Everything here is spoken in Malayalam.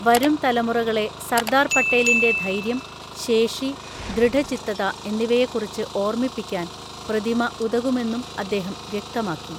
വരും തലമുറകളെ സർദാർ പട്ടേലിന്റെ ധൈര്യം, ശേഷി, ദൃഢചിത്തത എന്നിവയെക്കുറിച്ച് ഓർമ്മിപ്പിക്കാൻ പ്രതിമ ഉതകുമെന്നും അദ്ദേഹം വ്യക്തമാക്കി.